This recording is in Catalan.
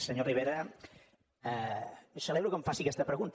senyor rivera celebro que em faci aquesta pregunta